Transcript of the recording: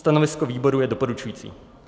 Stanovisko výboru je doporučující.